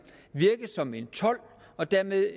virke som en told og dermed